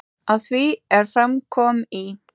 Að því er fram kom í